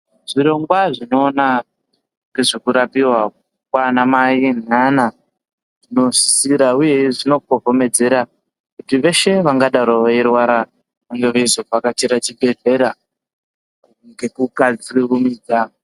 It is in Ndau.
Zvirongongwa zvinoona nhezvekurapiwa kwaana mai naana zvinosisira uye zvinokohomedzera kuti veshe vangadaro veirwara vange veizovhakachire chibhedhlera ngekukasi kurumidza.